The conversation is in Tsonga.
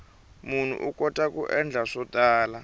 munhu u kota ku endla swo tala